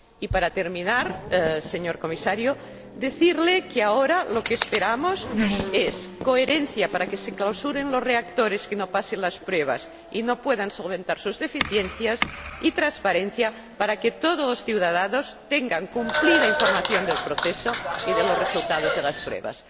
Para terminar, señor Comisario, quisiera decirle que lo que esperamos ahora es coherencia, para que se clausuren los reactores que no pasen las pruebas y no puedan solventar sus deficiencias, y transparencia, para que todos los ciudadanos tengan cumplida información del proceso y de los resultados de las pruebas.